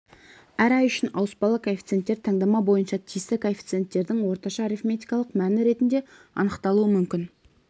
әр ай үшін ауыспалы коэффициенттер таңдама бойынша тиісті коэффициенттердің орташа арифметикалық мәні ретінде анықталуы мүмкін